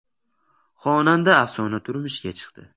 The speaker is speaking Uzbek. Xonanda Afsona turmushga chiqdi .